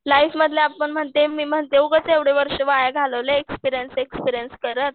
life मधले आपण म्हणते मी म्हणते उगाच एवढे वर्ष वाया एक्सपीरियन्स एक्सपीरियन्स करत